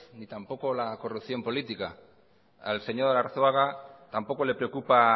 ni tampoco la corrupción política al señor arzuaga tampoco le preocupa